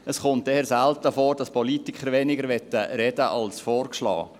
Es kommt eher selten vor, dass Politiker weniger reden möchten als vorgeschlagen.